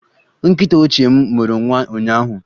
Nkịta ochie m mụrụ nwa ụnyaahụ